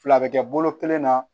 Fila bɛ kɛ bolo kelen na